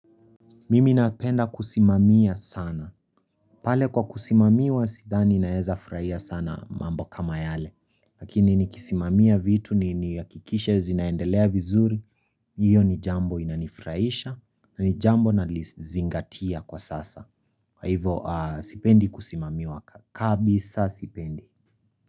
Mimi napenda kusimamia sana. Pale kwa kusimamiwa sidhani naeza furaia sana mambo kama yale. Lakini nikisimamia vitu niakikishe zinaendelea vizuri. Iyo ni jambo inanifraisha. Na ni jambo nalizingatia kwa sasa. Kwa hivo sipendi kusimamiwa. Kabisa sipendi.